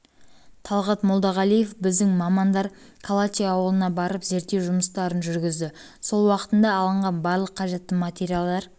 талғат молдағалиев біздің мамандар калачи ауылына барып зерттеу жұмыстарын жүргізді сол уақытта алынған барлық қажетті материалдар